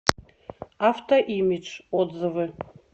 автоимидж отзывы